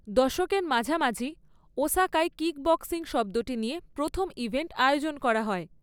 দশকের মাঝামাঝি, ওসাকায় কিকবক্সিং শব্দটি নিয়ে প্রথম ইভেন্ট আয়োজন করা হয়।